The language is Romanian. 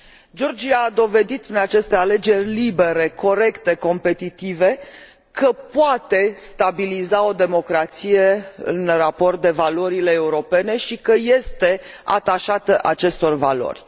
Georgia a dovedit prin aceste alegeri libere, corecte, competitive, că poate stabiliza o democrație în raport de valorile europene, și că este atașată acestor valori.